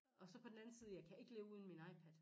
Og så på den anden side jeg kan ikke leve uden min iPad